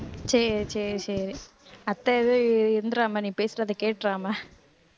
சரி சரி சரி அத்தை இது இந்திராமணி பேசுறதை கேட்டிராமா